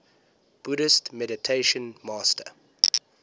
buddhist meditation master